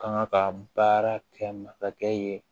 Kanga ka baara kɛ masakɛ ye